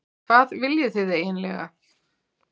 Hvað viljið þið eiginlega?